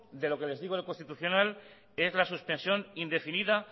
de lo que les digo del constitucional es la suspensión indefinida